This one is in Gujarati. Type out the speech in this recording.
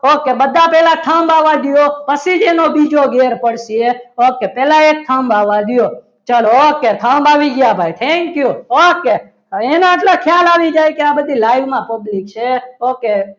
ઓકે બધા પહેલા થાંબાવાદીઓ પછી જ એનો બીજો ઘેર પડશે ઓકે પહેલા એક જાંબા આવી દો. okay okay બાય થંભ આવી ગયા. thank you okay હવે એનો એટલો ખ્યાલ આવી જાય કે આટલી બધી live માં public છે